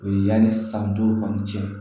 O ye yanni san duuru kɔni cɛ